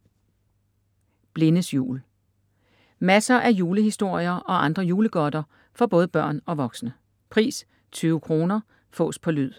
Blindes jul Masser af julehistorier og andre julegodter for både børn og voksne. Pris: 20,- kr. Fås på lyd